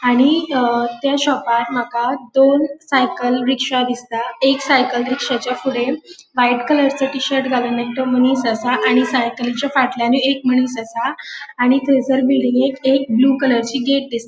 आणि अ त्या शोपार माका दोन साइकल रिक्शा दिसता एक सायकल रिक्शाच्या फुड़े व्हाइट कलरचो टी शर्ट घालून एकटो मनीस असा आणि सायकलींच्या फाटल्यान एक मनीस आसा आणि थैसर बिल्डिंगेक एक ब्लू कलरची गेट दिस --